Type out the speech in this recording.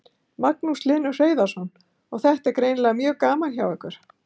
Magnús Hlynur Hreiðarsson: Og þetta er greinilega mjög gaman hjá ykkur?